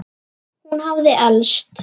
Hún hafði elst.